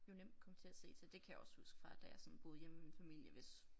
Jo nemt komme til at se til det kan jeg også huske fra da jeg sådan boede hjemme ved min familie hvis